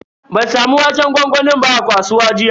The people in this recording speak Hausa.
Ban samu waƙen gwangwami ba a kasuwa jiya.